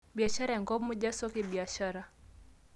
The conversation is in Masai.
biashara enkop muuj o soko e biashara